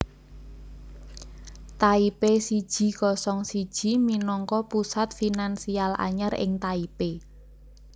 Taipei siji kosong siji minangka pusat finansial anyar ing Taipei